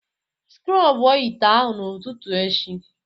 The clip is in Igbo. Sikrob ite ahụ n'ụtụtụ echi